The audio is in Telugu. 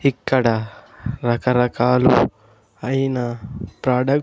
ఇక్కడ రకరకాల ఐనా ప్రాడక్ట్ --